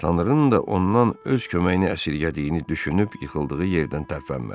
Tanrının da ondan öz köməyini əsirgədiyini düşünüb yıxıldığı yerdən tərpənmədi.